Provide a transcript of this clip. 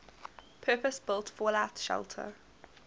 purpose built fallout shelter